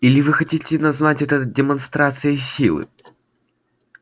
или вы хотите назвать это демонстрацией силы